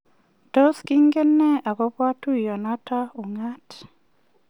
Tos kingen ne akobo tuiyonoto ung'aat?